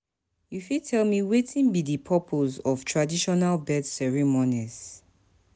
you fit tell me wetin be di purpose of traditional birth ceremonies?